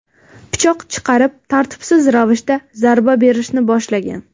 pichoq chiqarib, tartibsiz ravishda zarba berishni boshlagan.